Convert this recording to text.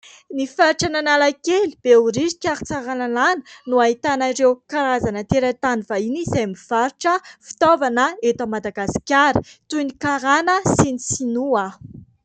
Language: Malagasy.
Ny faritra Analakely, Behoririka ary Tsaralalàna no ahitana ireo karazana tera-tany vahiny izay mivarotra fitaovana eto Madagasikara toy ny karana sy ny sinoa.